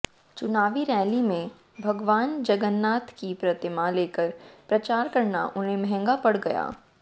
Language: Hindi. चुनावी रैली में भगवान जगन्नाथ की प्रतिमा लेकर प्रचार करना उन्हे महंगा पड़ गया